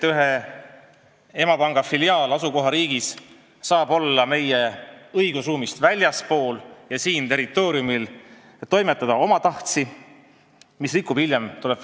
Ühe emapanga filiaal asukohariigis saab olla kohalikust õigusruumist väljaspool ja toimetada omatahtsi, rikkudes Eesti mainet.